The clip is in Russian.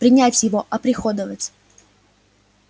принять его оприходовать